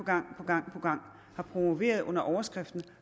gang gang har promoveret under overskriften at